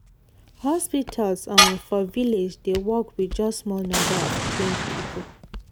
hospitals um for village dey work with just small number of trained people.